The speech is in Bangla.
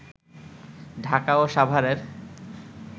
ঢাকা ও সাভারের